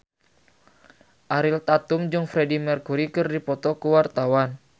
Ariel Tatum jeung Freedie Mercury keur dipoto ku wartawan